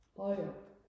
Højer